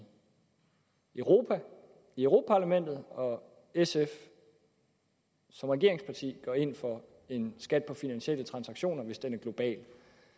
europa i europa parlamentet og at sf som regeringsparti går ind for en skat på finansielle transaktioner hvis den er global